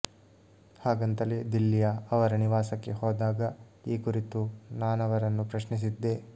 ಹಾಗಂತಲೇ ದಿಲ್ಲಿಯ ಅವರ ನಿವಾಸಕ್ಕೆ ಹೋದಾಗ ಈ ಕುರಿತು ನಾನವರನ್ನು ಪ್ರಶ್ನಿಸಿದ್ದೆ